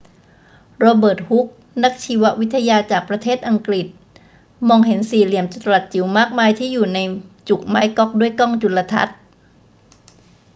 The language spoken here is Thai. โรเบิร์ต ฮุก นักชีววิทยาจากประเทศอังกฤษมอง เห็นสี่เหลี่ยมจัตุรัสจิ๋วมากมายที่อยู่ในจุกไม้ก๊อกด้วยกล้องจุลทรรศน์